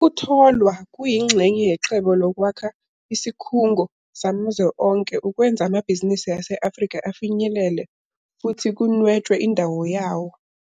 Ukutholwa kuyingxenye yecebo lokwakha isikhungo samazwe onke ukwenza amabhizinisi ase-Afrika afinyelele futhi kunwetshwe indawo yawo.